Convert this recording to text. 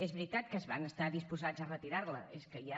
és veritat que van estar disposats a retirar la és que ja